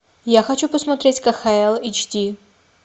я хочу посмотреть кхл эйч ди